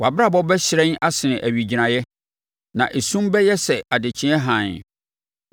Wʼabrabɔ bɛhyerɛn asene owigyinaeɛ, na esum bɛyɛ sɛ adekyeɛ hann.